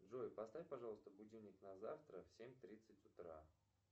джой поставь пожалуйста будильник на завтра в семь тридцать утра